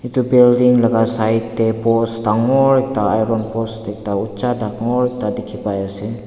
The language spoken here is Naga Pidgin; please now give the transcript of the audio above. Etu building laka side tey post dangor ekta iron post ekta ucha dangor ekta dekhe pa ase.